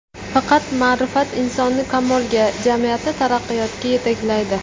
Faqat ma’rifat insonni kamolga, jamiyatni taraqqiyotga yetaklaydi.